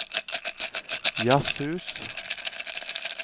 jazzhus